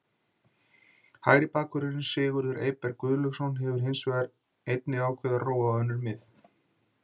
Hægri bakvörðurinn Sigurður Eyberg Guðlaugsson hefur hins vegar einnig ákveðið að róa á önnur mið.